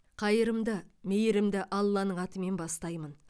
қайырымды мейірімді алланың атымен бастаймын